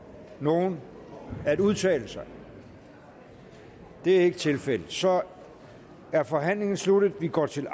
nogen at udtale sig det er ikke tilfældet så er forhandlingen sluttet og vi går til